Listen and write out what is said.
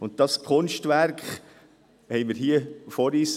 Dieses Kunstwerk haben wir hier vor uns.